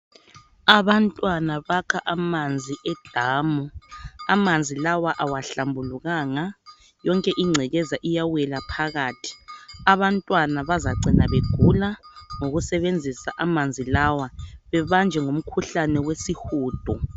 Abantwana bakha amanzi edamu. Amanzi lawa awahlambulukanga yonke ingcekeza iyawela phakathi. Abantwana bazacina begula ngokusebenzisa amanzi lawa bebanjwe ngumkhuhlane wesihudo.